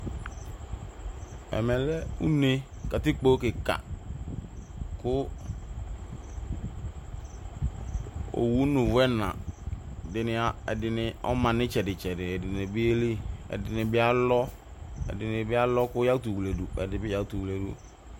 Ɛmɛ lɛ une katɩkpo kɩka owʊ nʊ ʊvʊ ɛna ɛdɩnɩ ɔma nʊ ɩtsɛdɩtsɛdɩ ɛdɩnɩ bɩ yelɩ ɛdɩnɩ bɩ alɔ kʊ yakʊtʊ wledʊ